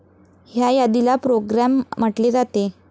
ह्या यादीला 'प्रोग्रॅम ' म्हटले जाते.